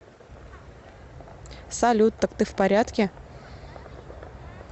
салют так ты в порядке